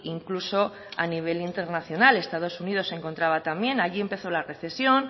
incluso a nivel internacional estados unidos se encontraba también allí empezó la recesión